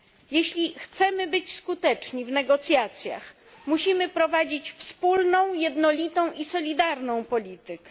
Jeśli chcemy być skuteczni w negocjacjach, musimy prowadzić wspólną, jednolitą i solidarną politykę.